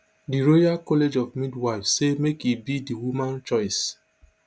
di royal college of midwives say make e be di woman choice